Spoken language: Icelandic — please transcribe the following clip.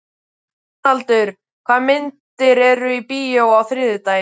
Dónaldur, hvaða myndir eru í bíó á þriðjudaginn?